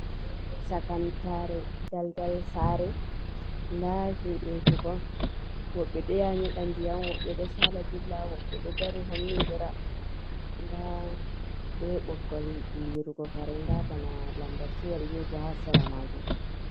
Chakantare daldal sare nda himɓeji bo woɓɓe ɗo nyeɗa ndiyam, woɓɓe ɗo saala dilla, woɓɓe ɗo dari homnidira, nda be ɓoggol lirugo kare nda bana lambaciyel ni bo ha sera majum.